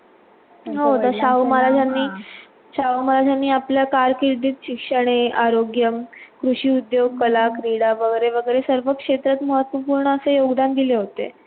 शाहू महाराजांनी शाहू महाराजांनी आपल्या कारकिर्दीत शिक्षणे, आरोग्य, कृषि उद्योग, कला, क्रीडा वैगरे वैगरे सर्व क्षेत्रात महत्वपूर्ण असे योगदान दिले होते.